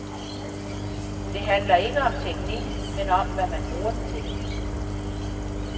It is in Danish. Det handler ikke om teknikken, men om hvad man bruger den til.